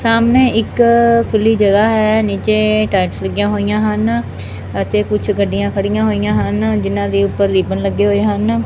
ਸਾਹਮਣੇ ਇੱਕ ਖੁੱਲੀ ਜਗ੍ਹਾ ਹੈ ਨੀਚੇ ਟਾਇਲਸ ਲੱਗਿਆ ਹੋਈਆਂ ਹਨ ਅਤੇ ਕੁਝ ਗੱਡੀਆਂ ਖੜੀਆਂ ਹੋਈਆਂ ਹਨ ਜਿੰਨਾਂ ਦੇ ਉੱਪਰ ਰਿਬਨ ਲੱਗੇ ਹੋਏ ਹਨ।